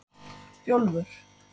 Bjólfur